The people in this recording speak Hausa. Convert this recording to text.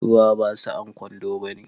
Ruwa ba sa'an kwando bane